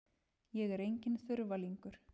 Ég er enginn þurfalingur.